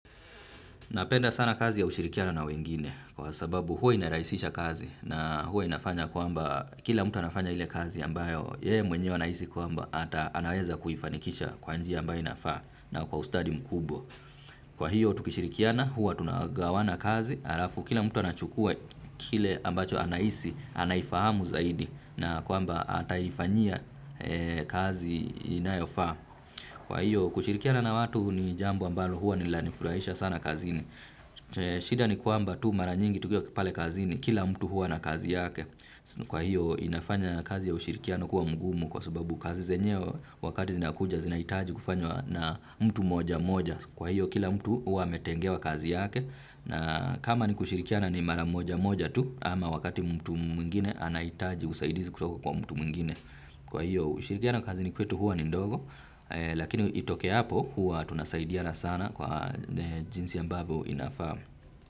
Napenda sana kazi ya kushirikiana na wengine kwa sababu huwa inarahisisha kazi na huwa inafanya kwamba kila mtu anafanya ile kazi ambayo yeye mwenye anahisi kwamba ata anaweza kuifanikisha kwa njia ambayo inafaa na kwa ustadi mkubwa. Kwa hiyo tukishirikiana huwa tunagawana kazi halafu kila mtu anachukua kile ambacho anahisi anaifahamu zaidi na kwamba ataifanyia kazi inayofaa. Kwa hiyo kushirikiana na watu ni jambo ambalo huwa ni la ni furahisha sana kazini. Shida ni kuamba tu mara nyingi tukiwa pale kazini, kila mtu huwa na kazi yake. Kwa hiyo inafanya kazi ya ushirikiano kuwa mgumu kwa sababu kazi zenyewe wakati zinakuja zinahitaji kufanywa na mtu mmoja mmoja. Kwa hiyo kila mtu huwa ametengewa kazi yake na kama ni kushirikiana ni mara moja moja tu ama wakati mtu mwingine anahitaji usaidizi kutoka kwa mtu mwingine. Kwa hiyo ushirikiano na kazini kwetu huwa ni ndogo. Lakini itokeapo huwa tunasaidiana sana kwa jinsi ambavyo inafaa.